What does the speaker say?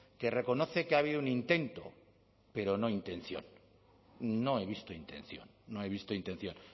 que reconoce que ha habido un intento pero no intención no he visto intención no he visto intención